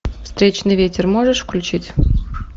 встречный ветер можешь включить